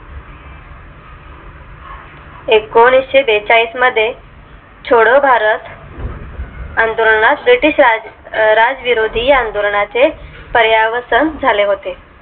एकोणीशे बेचाळीस मध्ये छोडो भारत आंदोलनास british राज विरोधी या आंदोलना चे पर्या वसन झाले होते